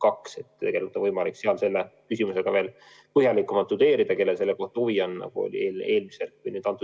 Nii et tegelikult on võimalik sealt selle küsimuse kohta põhjalikumalt lugeda, kellel selle vastu huvi on, nagu üle-eelmisel küsijal oli.